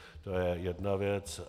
To je jedna věc.